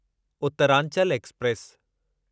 उतरांचलु express